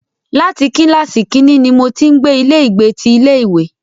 Láti kílàsì kínní ní mo ti ń gbé ilé ìgbé ti ilé ìwé.